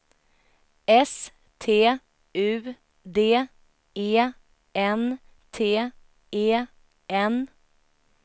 S T U D E N T E N